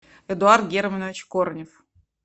эдуард германович корнев